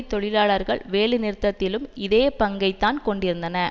தொழிலாளர்கள் வேலைநிறுத்ததிலும் இதே பங்கைத்தான் கொண்டிருந்தன